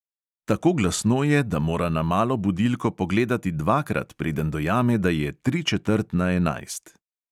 Tako glasno je, da mora na malo budilko pogledati dvakrat, preden dojame, da je tri četrt na enajst.